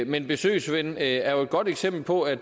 men besøgsven er jo et godt eksempel på at